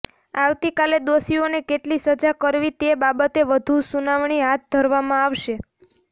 આવતીકાલે દોષીઓને કેટલી સજા કરવી તે બાબતે વધુ સુનાવણી હાથ ધરવામાં આવશે